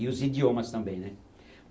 E os idiomas também, né?